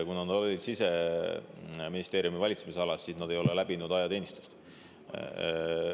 Kuna nad olid Siseministeeriumi valitsemisalas, siis nad ei ole läbinud ajateenistust …